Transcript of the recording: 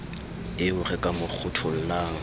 eo re ka mo kgothollang